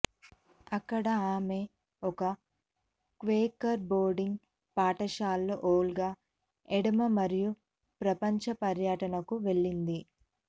అక్కడ ఆమె ఒక క్వేకర్ బోర్డింగ్ పాఠశాలలో ఓల్గా ఎడమ మరియు ప్రపంచ పర్యటనకు వెళ్ళింది